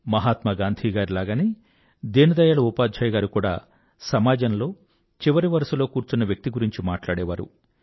మహాత్మా గాంధీ గారి లాగనే దీన్ దయాళ్ ఉపాధ్యాయ్ గారు కూడా సమాజంలో చివరి వరుసలో కూర్చున్న వ్యక్తి గురించి మట్లాడేవారు